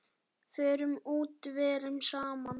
Förum út, verum saman.